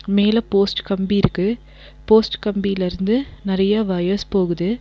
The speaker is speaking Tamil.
மேல போஸ்ட் கம்பிருக்கு. போஸ்ட் கம்பிலிருந்து நெறைய வயர்ஸ் போகுது.